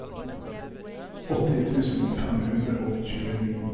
åtti tusen fem hundre og tjueni